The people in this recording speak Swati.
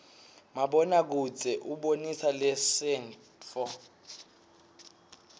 mabona kudze ubonisa lasenttfo